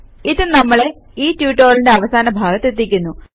ഇത് നമ്മളെ ഈ ട്യൂട്ടോറിയലിന്റെ അവസാന ഭാഗത്തെത്തിക്കുന്നു